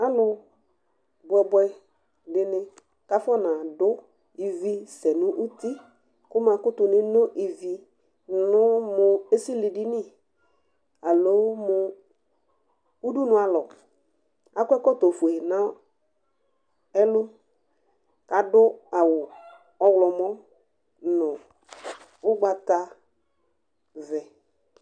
Alʋ bʋɛbʋɛ dɩnɩ kafɔnadʋ ivi sɛ nʋ uti, kʋmakʋtʋ neno ivi nʋ esilidini, alo mʋ udunu alɔAkɔ ɛkɔtɔ fue na ɛlʋ ,kadʋ awʋ ɔɣlɔmɔ dʋ nʋ ʋgbatavɛ